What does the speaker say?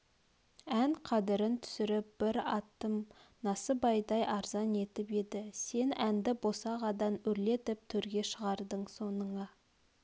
ән қадірн түсіріп бір атым насыбайдай арзан етіп еді сен әнді босағадан өрлетіп төрге шығардың соныңа